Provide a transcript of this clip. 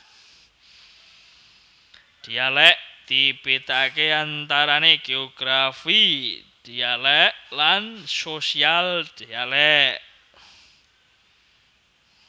Dhialèk dibedakaké antarané geografi dhialèk lan sosial dhialèk